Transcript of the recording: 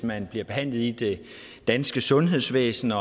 man bliver behandlet i det danske sundhedsvæsen og